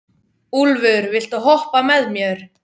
Úlfur, viltu hoppa með mér?